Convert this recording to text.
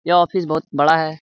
यह ऑफिस बहुत बड़ा है।